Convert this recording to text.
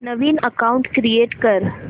नवीन account create कर